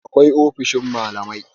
akwai ofisoshin malamai